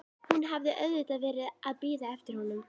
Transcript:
Hún hafði auðvitað verið að bíða eftir honum.